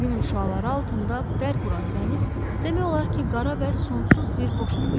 Günəşin şüaları altında bərq vuran dəniz demək olar ki, qara və sonsuz bir boşluq idi.